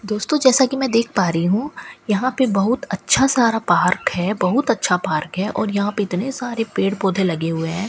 दोस्तों जैसा कि मैं देख पा रही हूं यहां पे बहुत अच्छा सारा पार्क है बहुत अच्छा पार्क है और यहां पे इतने सारे पेड़ पौधे लगे हुए हैं।